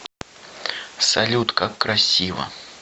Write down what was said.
салют как красиво